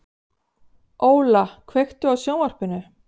Óla, kveiktu á sjónvarpinu.